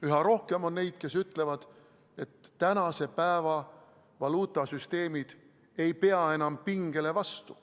Üha rohkem on neid, kes ütlevad, et tänase päeva valuutasüsteemid ei pea enam pingele vastu.